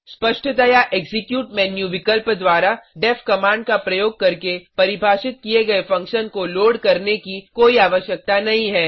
स्पष्टतया execute menu विकल्प द्वारा डेफ कमांड का प्रयोग करके परिभाषित किए गए फंक्शन को लोड करने की कोई आवश्यकता नहीं है